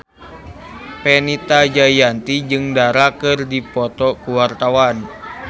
Fenita Jayanti jeung Dara keur dipoto ku wartawan